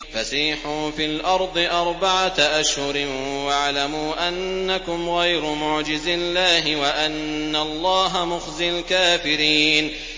فَسِيحُوا فِي الْأَرْضِ أَرْبَعَةَ أَشْهُرٍ وَاعْلَمُوا أَنَّكُمْ غَيْرُ مُعْجِزِي اللَّهِ ۙ وَأَنَّ اللَّهَ مُخْزِي الْكَافِرِينَ